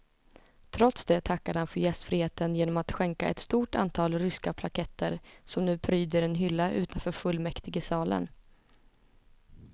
Trots det tackade han för gästfriheten genom att skänka ett stort antal ryska plaketter som nu pryder en hylla utanför fullmäktigesalen.